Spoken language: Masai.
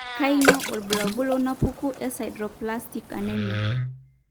kainyio irbulabul onaapuku eSideroblastic anemia?